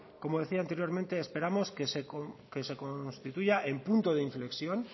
como decía anteriormente esperamos que se constituya el punto de inflexión